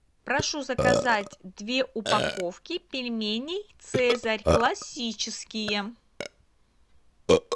прошу заказать две упаковки пельменей цезарь классические